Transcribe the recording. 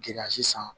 Giriya sisan